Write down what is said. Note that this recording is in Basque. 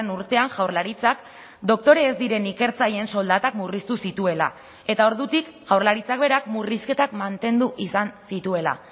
urtean jaurlaritzak doktore ez diren ikertzaileen soldatak murriztu zituela eta ordutik jaurlaritzak berak murrizketak mantendu izan zituela